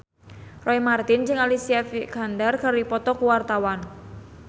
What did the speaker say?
Roy Marten jeung Alicia Vikander keur dipoto ku wartawan